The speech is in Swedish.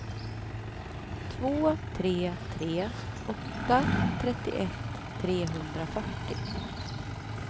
två tre tre åtta trettioett trehundrafyrtio